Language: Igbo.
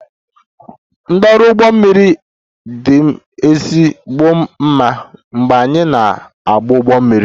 Ndị ọrụ ụgbọ mmiri m dị m ezigbo mma mgbe anyị na-agba ụgbọ mmiri